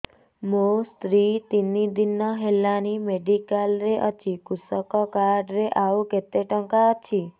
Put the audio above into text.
ମୋ ସ୍ତ୍ରୀ ତିନି ଦିନ ହେଲାଣି ମେଡିକାଲ ରେ ଅଛି କୃଷକ କାର୍ଡ ରେ ଆଉ କେତେ ଟଙ୍କା ଅଛି